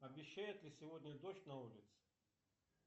обещают ли сегодня дождь на улице